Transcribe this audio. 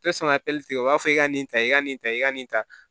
tɛ sɔn ka tigɛ u b'a fɔ i ka nin ta i ka nin ta i ka nin ta